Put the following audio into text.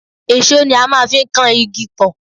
èṣó ni a máa ń fi ń kan igi pọ̀